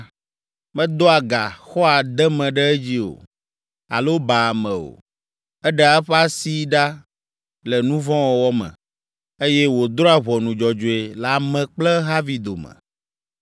Medoa ga, xɔa deme ɖe edzi o, alo baa ame o. Eɖea eƒe asi ɖa le nu vɔ̃ wɔwɔ me, eye wòdrɔ̃a ʋɔnu dzɔdzɔe le ame kple ehavi dome.